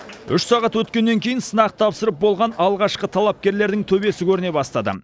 үш сағат өткеннен кейін сынақ тапсырып болған алғашқы талапкерлердің төбесі көріне бастады